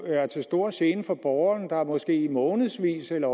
er til stor gene for borgeren der måske i månedsvis eller